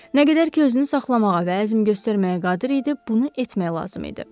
Nə qədər ki, özünü saxlamağa və əzm göstərməyə qadir idi, bunu etmək lazım idi.